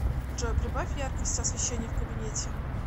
джой прибавь яркость освещения в кабинете